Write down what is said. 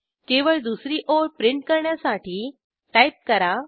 केवळ दुसरी ओळ प्रिंट करण्यासाठी टाईप करा